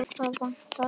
Hvað vantar?